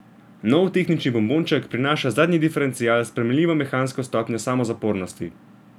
Nov tehnični bombonček prinaša zadnji diferencial s sprejemljivo mehansko stopnjo samozapornosti.